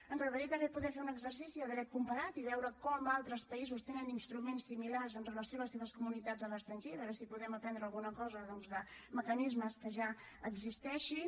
ens agradaria també poder fer un exercici de dret comparat i veure com altres països tenen instruments similars amb relació a les seves comunitats a l’estranger i veure si podem aprendre alguna cosa doncs de mecanismes que ja existeixin